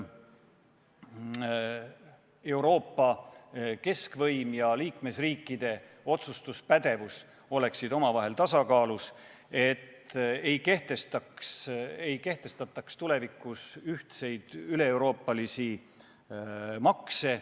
Euroopa keskvõim ja liikmesriikide otsustuspädevus peaksid olema tasakaalus ning tulevikus ei tohiks kehtestada ühtseid üleeuroopalisi makse.